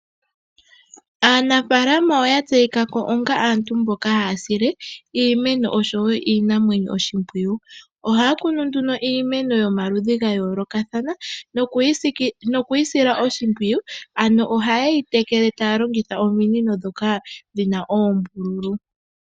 Aanafaalama oya tseyika ko onga aantu mboka haya sile iimeno, osho wo iinamwenyo oshi mpwiyu. Ohaya kunu nduno iimeno yomaludhi ga yoolokathana noku yi sila oshi mpwiyu, ano oha ye yi tekele taya longitha omi nino ndhoka dhina oombululu.